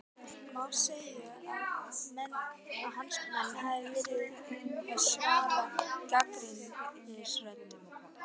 Má segja að hans menn hafi verið að svara gagnrýnisröddum?